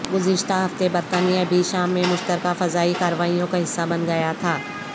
گذشتہ ہفتے برطانیہ بھی شام میں مشترکہ فضائی کارروائیوں کا حصہ بن گیا تھا